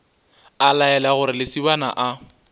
a laela gore lesibana a